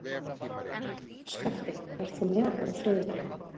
Skafti, ferð þú með okkur á þriðjudaginn?